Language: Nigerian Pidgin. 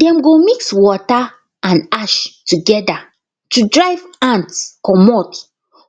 dem go mix water and ash together to drive ants comot